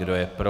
Kdo je pro.